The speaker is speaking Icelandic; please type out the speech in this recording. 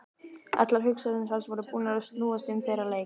Allar hugsanir hans voru búnar að snúast um þennan leik.